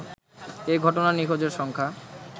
এ ঘটনায় নিখোঁজের সংখ্যা